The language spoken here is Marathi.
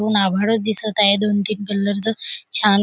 ऊन आभाळ दिसत आहे दोन तीन कलर च छान--